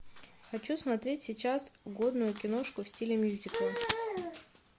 хочу смотреть сейчас годную киношку в стиле мюзикла